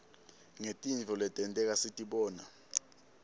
ngetintfo letenteka sitibona